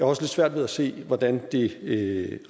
også lidt svært ved at se hvordan det